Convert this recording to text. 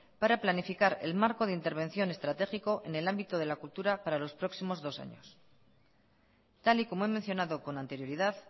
para planificar el marco de intervención estratégico en el ámbito de la cultura para los próximos dos años tal y como he mencionado con anterioridad